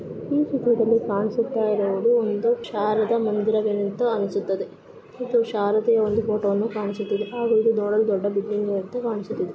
ಈ ಚಿತ್ರದಲ್ಲಿ ಕಾಣಿಸುತ್ತಾ ಇರುವುದು ಒಂದು ಶಾರದಾ ಮಂದಿರವೆಂತ ಅನಿಸುತದೆ ಇದು ಶಾರದೆಯ ಒಂದು ಫೋಟೋವನ್ನು ಕಾಣಿಸುತ್ತದೆ. ಹಾಗೂ ಇದು ನೋಡಲು ಇದು ದೊಡ್ಡ ಬಿಲ್ಡಿಂಗ್ ನಂತೆ ಕಾಣಿಸುತ್ತಿದೆ.